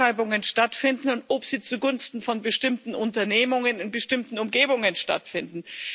Ausschreibungen stattfinden und ob sie zugunsten von bestimmten Unternehmungen in bestimmten Umgebungen stattfinden.